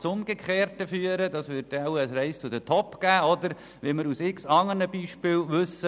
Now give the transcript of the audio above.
Das Gegenteil würde eintreffen und ein «race to the top» entstehen, wie wir es aus unzähligen anderen Beispielen kennen.